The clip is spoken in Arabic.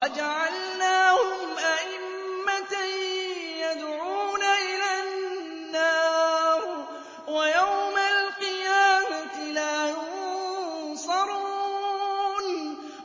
وَجَعَلْنَاهُمْ أَئِمَّةً يَدْعُونَ إِلَى النَّارِ ۖ وَيَوْمَ الْقِيَامَةِ لَا يُنصَرُونَ